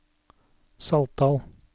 Saltdal